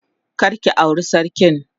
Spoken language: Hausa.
Kar ki aure sarkin.